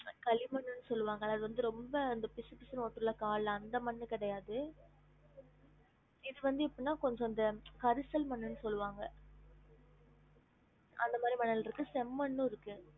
கலி மண்ணுன்னு சொல்லுவாங்கள அது வந்து ரொம்ப அந்த பிசு பிசுனு ஓட்டும் ல கால் ல அந்த மண்ணு கெடையாது இது வந்து எப்புட்னா கொஞ்சம் இந்த கரிசல் மண்ணுன்னு சொல்லுவாங்க அந்த மாதிரி மணல் இருக்கு செம்மண்ணும் இருக்கு